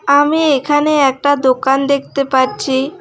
আমি এখানে একটা দোকান দেখতে পাচ্ছি।